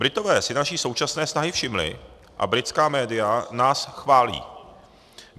Britové si naší současné snahy všimli a britská média nás chválí.